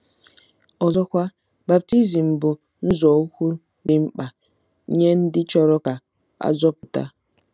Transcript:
Ọzọkwa, baptizim bụ nzọụkwụ dị mkpa nye ndị chọrọ ka a zọpụta..